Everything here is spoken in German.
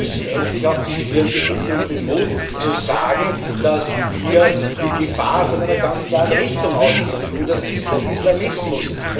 Sie müssen endlich auch die Stirn besitzen und den Mut, zu sagen, dass die Gefahr von einer ganz klaren Richtung ausgeht, und das ist der Islamismus.